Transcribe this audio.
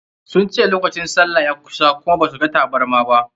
Sun ce lokacin sallah ya kusa kuma ba su ga tabarma.